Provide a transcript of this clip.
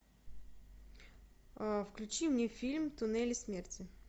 включи мне фильм туннели смерти